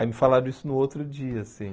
Aí me falaram isso no outro dia, assim.